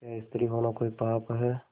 क्या स्त्री होना कोई पाप है